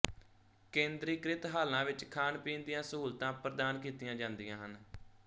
ਕੇਂਦਰੀਕ੍ਰਿਤ ਹਾਲਾਂ ਵਿੱਚ ਖਾਣ ਪੀਣ ਦੀਆਂ ਸਹੂਲਤਾਂ ਪ੍ਰਦਾਨ ਕੀਤੀਆਂ ਜਾਂਦੀਆਂ ਹਨ